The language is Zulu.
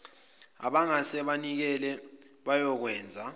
abangase banikele bayokwenza